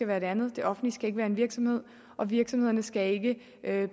være det andet det offentlige være en virksomhed og virksomhederne skal ikke